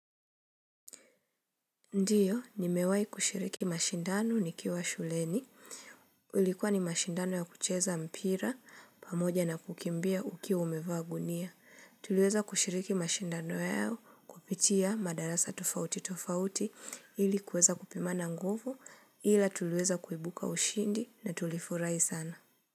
Ndiyo nimewai kushiriki mashindano nikiwa shuleni ulikuwa ni mashindano ya kucheza mpira pamoja na kukimbia ukiwa umevaa gunia tuliweza kushiriki mashindano yao kupitia madarasa tofauti tofauti ili kuweza kupimana nguvu ila tulieza kuibuka ushindi na tulifurahi sana.